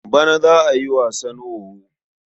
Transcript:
Bana za a yi wasan wowo.